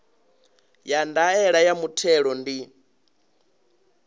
ya ndaela ya muthelo ndi